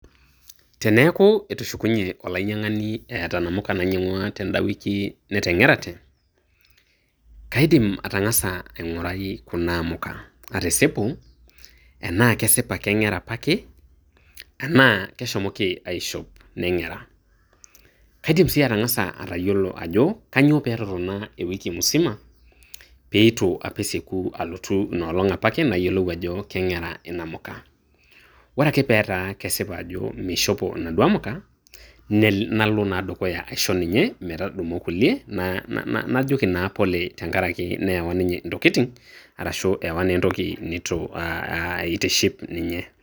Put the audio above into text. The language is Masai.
Teneaku etushukunye olainyang'ani eata inamuka nainyang'ua tenda wiki meteng'erate, kaidim atang'asa aingorai Kuna amuka, atisipu enaake kesipa eng'era apake anaake shomoki aishop neng'era. Kaidim sii atang'asa atayiolou ajo kainyoo pee totona ewiki musima peitu apa esieku alotu inoolong' opa ake nayiolou ajo keng'era inamuka. Ore ake petaa kesipa ajo meishopo naduo amuka, nalo naa dukuya aisho ninye metudumu inkulie najoki naa pole tengara ake neewa ninye intokitin arashu ewa naa entoki neitu eitiship ninye.